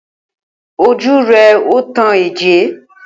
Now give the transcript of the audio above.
Ojú rẹ ò tàn ẹ́ jẹ.